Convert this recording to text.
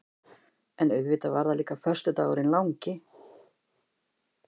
En auðvitað var það líka föstudagurinn langi.